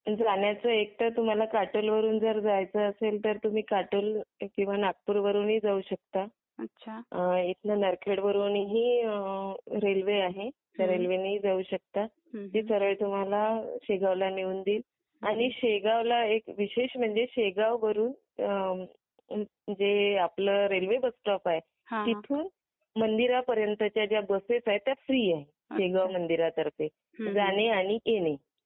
जाण्याचा एक तर तुम्हाला असेल तर काटोल वरून तुम तर तुम्ही काटोल किंवा नागपूरवरूनही जाऊ शकता इतना नारखेड वरून रेल्वे आहे रेल्वेने ही जाऊ शकता. ती सरळ तुम्हाला शेगाव शेगावला नेऊन देईल आणि शेगावला एक विशेष म्हणजे शेगाव वरून जे आपले रेल्वे बस स्टॉप आहे तिथून मंदिर पर्यंतच्या बसेस आहे त्या फ्री आहे शेगाव मंदिरा तर्फे जाणे आणि येणे.